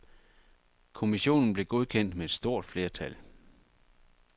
Kommissionen blev godkendt med et stort flertal.